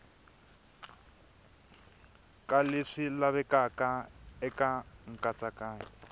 ka leswi lavekaka eka nkatsakanyo